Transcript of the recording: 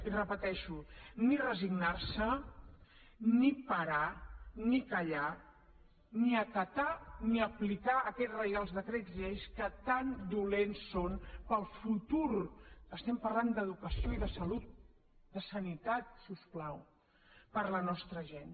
i repeteixo ni resignar se ni parar ni callar ni acatar ni aplicar aquests reials decrets llei que tan dolents són per al futur estem parlant d’educació i de salut de sanitat si us plau per a la nostra gent